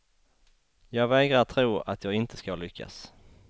Jag vägrar tro att jag inte ska lyckas.